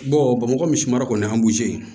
bamakɔ misi mara kɔni an b'o ye